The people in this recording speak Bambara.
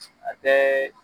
a tɛ.